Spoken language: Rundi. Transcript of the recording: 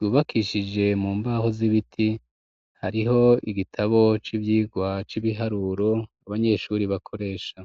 rubakishije mu mbaho z'ibiti hariho igitabo c'ivyirwa c'ibiharurobe neshuri bakoresha.